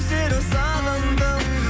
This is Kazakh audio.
сені сағындым